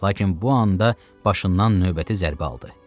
Lakin bu anda başından növbəti zərbə aldı.